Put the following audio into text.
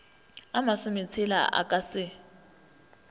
a masometshela o ka se